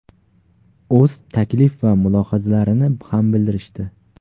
o‘z taklif va mulohazalarini ham bildirishdi.